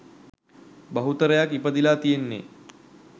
බහුතරයක් ඉපදීලා තියෙන්නේ